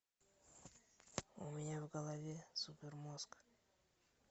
у меня в голове супермозг